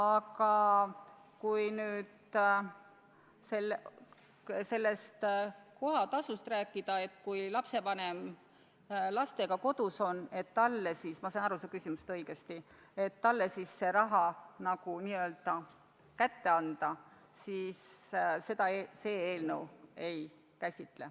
Aga kui rääkida kohatasust sellest vaatevinklist, et kui lapsevanem lastega kodus on – kui ma ikka sain su küsimusest õigesti aru –, siis varianti, et see raha neile n-ö kätte anda, see eelnõu ei käsitle.